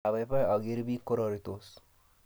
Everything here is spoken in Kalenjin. Apaipai akere piik kororitos